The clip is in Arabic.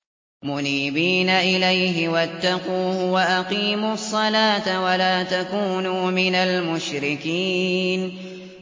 ۞ مُنِيبِينَ إِلَيْهِ وَاتَّقُوهُ وَأَقِيمُوا الصَّلَاةَ وَلَا تَكُونُوا مِنَ الْمُشْرِكِينَ